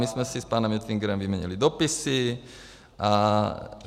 My jsme si s panem Oettingerem vyměnili dopisy.